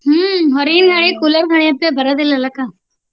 ಹ್ಮ ಹೊರಗಿನ ಗಾಳಿ cooler ಗಾಳಿ ಬರೋದಿಲ್ಲ ಅಲ್ಲ ಅಕ್ಕ?